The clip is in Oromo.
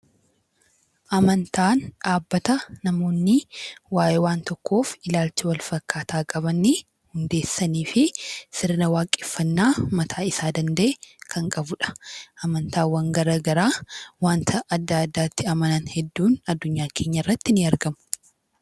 Amantaan dhaabbata namoonni waa'ee waan tokkoof ilaalcha wal fakkaataa qaban hundeessanii fi sirna waaqeffannaa mataa isaa danda'e kan qabudha. Amantaawwan gara garaa waanta adda addaatti amanan hedduun addunyaa keenya irratti ni argamu.